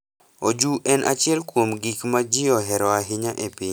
Oju en achiel kuom gik ma ji ohero ahinya e piny.